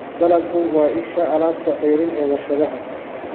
Dalaggu waa isha alaabta ceeriin ee warshadaha.